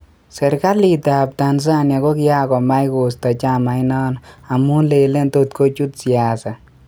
serkalit ap Tanzania ko kiangomach kosta chamait nano amun lele totkochut siasa.